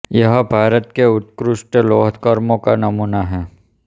यह भारत के उत्कृष्ट लौह कर्म का नमूना है